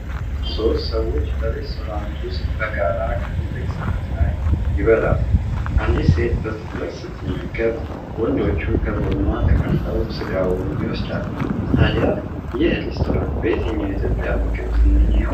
ሦስት ሰዎች በሬስቶራንት ውስጥ በጋራ ከትልቅ ሳህን ላይ ይበላሉ። አንዲት ሴት በትኩረት ስትመገብ፣ ወንዶቹ ከጎኗ ተቀምጠው ስጋውን ይወስዳሉ። ታዲያ ይህ ሬስቶራንት በየትኛው የኢትዮጵያ ምግብ ዝነኛ ይሆን?